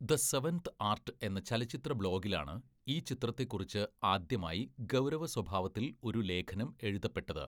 The seventh art എന്ന ചലച്ചിത്ര ബ്ലോഗിലാണ് ഈ ചിത്രത്തെ കുറിച്ച് ആദ്യമായി ഗൗരവസ്വഭാവത്തിൽ ഒരു ലേഖനം എഴുതപ്പെട്ടത്.